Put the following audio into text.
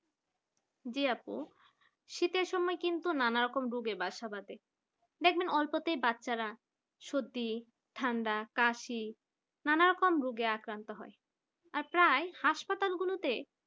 জি আপু শীতের সময় কিন্তু নানা রকম রোগের বাসা বাঁধে দেখবেন অল্পতে বাচ্চারা সর্দি ঠান্ডা কাশি নানা রকম রোগে আক্রান্ত হয় আর প্রায় হাসপাতালগুলোতে